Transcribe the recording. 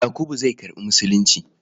Yakubu zai karɓi Musulunci.